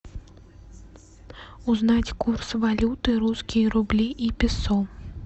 узнать курс валюты русские рубли и песо